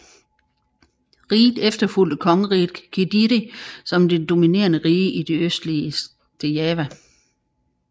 Riget efterfulgte Kongeriget Kediri som det dominerende rige i det østlige Java